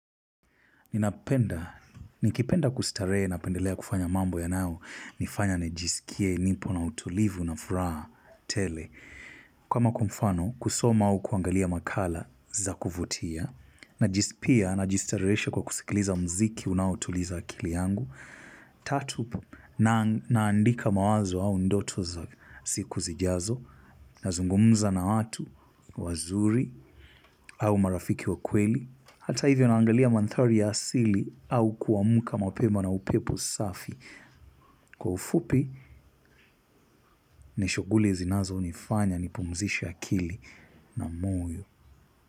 Nikipenda kustarehe napendelea kufanya mambo yanaonifanya nijiskie nipo na utulivu na furaha tele. Kama kwa mfano, kusoma au kuangalia makala za kuvutia, na pia najistareesha kwa kusikiliza mziki unaotuliza akili yangu. Tatu, naandika mawazo au ndoto za siku zijazo, nazungumza na watu wazuri au marafiki wa kweli. Hata hivyo naangalia manthari ya asili au kuamuka mapema na upepo safi. Kwa ufupi, ni shuguli zinazonifanya nipumzishe akili na moyo.